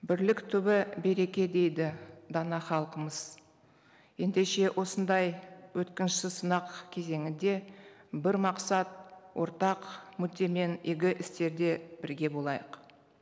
бірлік түбі береке дейді дана халқымыз ендеше осындай өткінші сынақ кезеңінде бір мақсат ортақ мүддемен игі істерде бірге болайық